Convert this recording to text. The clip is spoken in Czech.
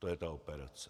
To je ta operace.